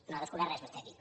no ha descobert res vostè aquí